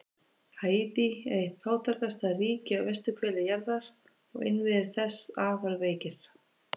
Haítí er eitt fátækasta ríki á vesturhveli jarðar og innviðir þess afar veikir.